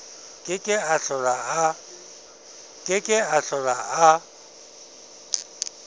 ke ke a hlola a